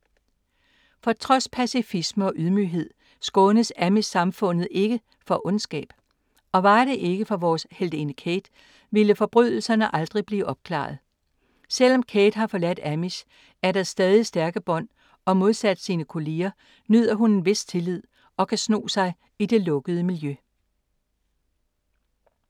For trods pacifisme og ydmyghed skånes amish-samfundet ikke for ondskab. Og var det ikke for vores heltinde Kate, ville forbrydelserne aldrig blive opklaret. Selv om Kate har forladt amish, er der stadig stærke bånd og modsat sine kolleger, nyder hun en vis tillid og kan sno sig i det lukkede miljø.